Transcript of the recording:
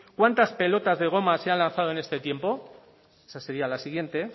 cuántas pelotas de goma se han lanzado en este tiempo esa sería la siguiente